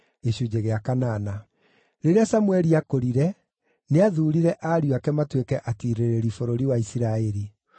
Rĩrĩa Samũeli aakũrire, nĩathuurire ariũ ake matuĩke atiirĩrĩri bũrũri wa Isiraeli.